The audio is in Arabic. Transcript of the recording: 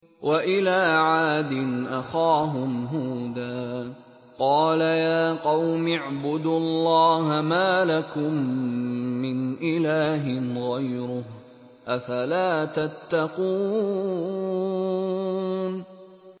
۞ وَإِلَىٰ عَادٍ أَخَاهُمْ هُودًا ۗ قَالَ يَا قَوْمِ اعْبُدُوا اللَّهَ مَا لَكُم مِّنْ إِلَٰهٍ غَيْرُهُ ۚ أَفَلَا تَتَّقُونَ